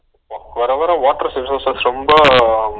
வர வர water resources ரொம்ப